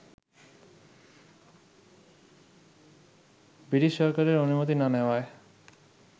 British সরকারের অনুমতি না নেওয়ায়